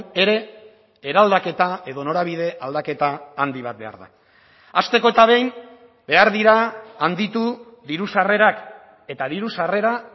ere eraldaketa edo norabide aldaketa handi bat behar da hasteko eta behin behar dira handitu diru sarrerak eta diru sarrera